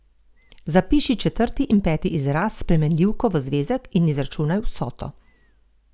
Zapiši četrti in peti izraz s spremenljivko v zvezek in izračunaj vsoto.